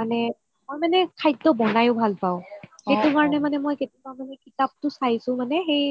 মানে মই মানে খাদ্য বনাইও ভাল পাও সেইটো কাৰণে কেতিয়াবা মানে কিতাপটো চাইচো মানে সেই